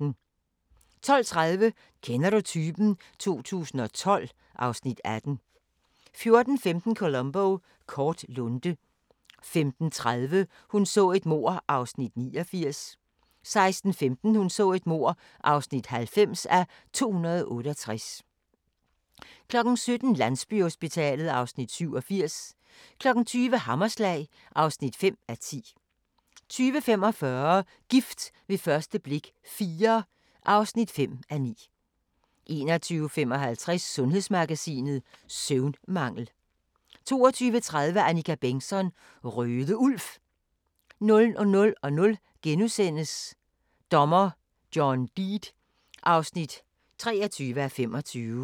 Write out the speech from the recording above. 12:30: Kender du typen? 2012 (Afs. 18) 14:15: Columbo: Kort lunte 15:30: Hun så et mord (89:268) 16:15: Hun så et mord (90:268) 17:00: Landsbyhospitalet (Afs. 87) 20:00: Hammerslag (5:10) 20:45: Gift ved første blik – IV (5:9) 21:55: Sundhedsmagasinet: Søvnmangel 22:30: Annika Bengtzon: Røde Ulv 00:00: Dommer John Deed (23:25)*